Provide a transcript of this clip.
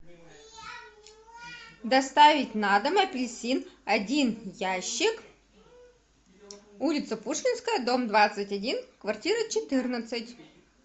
доставить на дом апельсин один ящик улица пушкинская дом двадцать один квартира четырнадцать